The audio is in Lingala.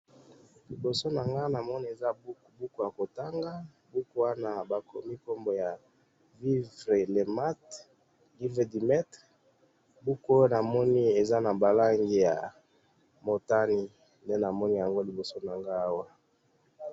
awa nazo mona ndako, ndako wana eza na lopango, lopango wana epasuki, nde nazo mona, eza ndako ya pembe na ba portails ya manzanza, ndako eza na kati ya lopango, ndako wana eza na portail ya manzanza, nde nazo mona